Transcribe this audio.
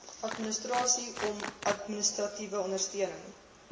administrasieom administratiewe ondersteuning